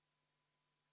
V a h e a e g